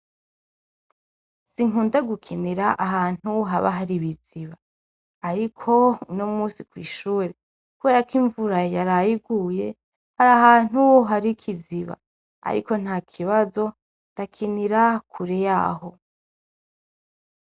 Sinkunda gukinira ahantu haba hari ibiziba ariko uno musi kw'ishure, kuberako imvura yaraye iguye, hari ahantu hari ikiziba, ariko ntakibazo ndakinira kure y'aho.